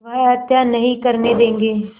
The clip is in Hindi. वह हत्या नहीं करने देंगे